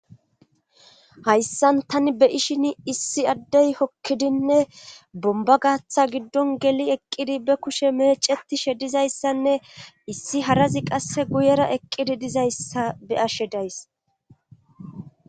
Hayssan tani be ishin issi addey hokkidinne bomba gaatha giddon geli eqqidi be kushe meeceti she dizayssanne issi harazi qasse guyera eqqidi dizayssa be ashe days